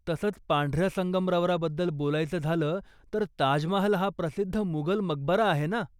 तसंच, पांढऱ्या संगमरवरबद्दल बोलायचं झालं, तर ताजमहाल हा प्रसिद्ध मुगल मकबरा आहे ना?